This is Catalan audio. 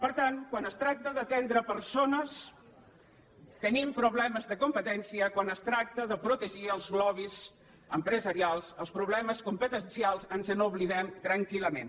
per tant quan es tracta d’atendre persones tenim problemes de competència quan es tracta de protegir els lobbys empresarials dels problemes competencials ens n’oblidem tranquil·lament